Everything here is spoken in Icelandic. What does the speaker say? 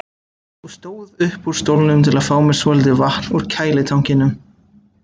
og stóð upp úr stólnum til að fá mér svolítið vatn úr kælitankinum.